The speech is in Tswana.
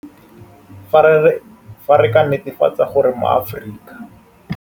Fa re ka netefatsa gore maAforika.